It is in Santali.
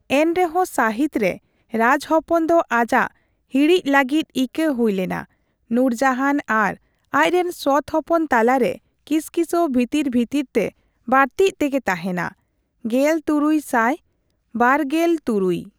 ᱮᱱᱨᱮᱦᱚᱸ ᱥᱟᱹᱦᱤᱛ ᱨᱮ ᱨᱟᱡᱽ ᱦᱚᱯᱚᱱ ᱫᱚ ᱟᱡᱟᱜ ᱦᱤᱲᱤᱡ ᱞᱟᱹᱜᱤᱫ ᱤᱠᱟᱹ ᱦᱩᱭ ᱞᱮᱱᱟ, ᱱᱩᱨᱡᱟᱦᱟᱱ ᱟᱨ ᱟᱡ ᱨᱮᱱ ᱥᱚᱛ ᱦᱚᱯᱚᱱ ᱛᱟᱞᱟᱨᱮ ᱠᱤᱥᱠᱤᱥᱟᱹᱣ ᱵᱷᱤᱛᱤᱨ ᱵᱷᱤᱛᱤᱨ ᱛᱮ ᱵᱟᱹᱲᱛᱤᱜ ᱛᱮᱜᱮ ᱛᱟᱦᱮᱸᱱᱟ ᱾ᱜᱮᱞᱛᱩᱨᱩᱭ ᱥᱟᱭ ᱵᱟᱨᱜᱮᱞᱛᱩᱨᱩᱭ